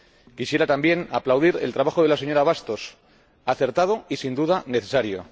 Quisiera, también, aplaudir el trabajo de la señora Bastos, acertado y, sin duda, necesario.